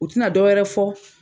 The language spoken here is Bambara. U tɛna dɔ wɛrɛ fɔ.